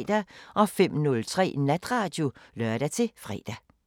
05:03: Natradio (lør-fre)